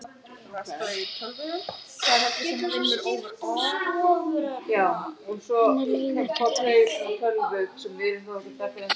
Henni leið ekkert vel.